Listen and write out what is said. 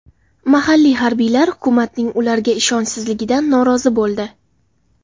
Mahalliy harbiylar hukumatning ularga ishonchsizligidan norozi bo‘ldi.